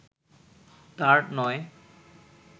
তাঁর নয়